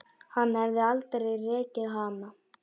Hann hefði aldrei rekið hana.